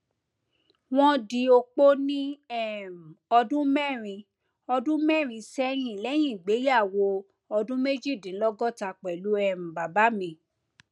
wọn di opó ní um ọdún mẹrin ọdún mẹrin sẹyìn lẹyìn ìgbéyàwó ọdún méjìdínlọgọta pẹlú um bàbá mi